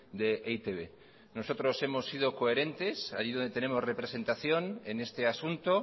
de e i te be nosotros hemos sido coherentes ahí donde tenemos representación en este asunto